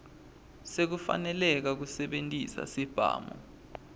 sekufaneleka kusebentisa sibhamu